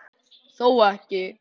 Þó ekki?